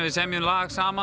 semjum lag saman